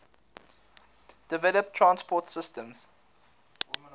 developed transport systems